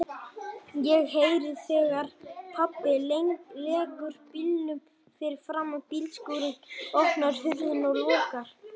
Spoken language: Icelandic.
Ég heyri þegar pabbi leggur bílnum fyrir framan bílskúrinn, opnar hurðina og lokar.